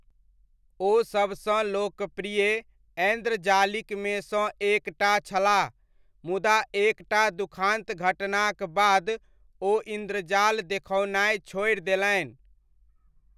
ओ सबसँ लोकप्रिय ऐन्द्रजालिकमे सँ एक टा छलाह मुदा एक टा दुखान्त घटनाक बाद ओ इन्द्रजाल देखओनाइ छोड़ि देलनि।